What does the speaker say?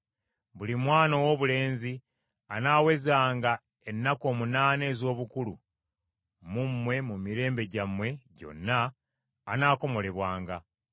Buli mwana owoobulenzi anaawezanga ennaku omunaana ez’obukulu mu mmwe mu mirembe gyammwe gyonna anaakomolebwanga,